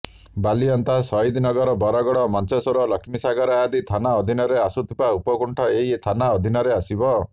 ବାଲିଅନ୍ତା ସହିଦନଗର ବଡ଼ଗଡ଼ ମଞ୍ଚେଶ୍ବର ଲକ୍ଷ୍ମୀସାଗର ଆଦି ଥାନା ଅଧୀନରେ ଆସୁଥିବା ଉପକଣ୍ଠ ଏହି ଥାନା ଅଧୀନରେ ଆସିବ